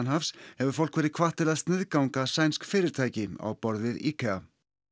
hefur fólk verið hvatt til að sniðganga sænsk fyrirtæki á borð við IKEA